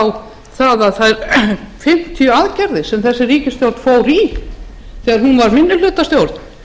á þær fimmtíu aðgerðir sem þessi ríkisstjórn fór í þegar hún var minnihlutastjórn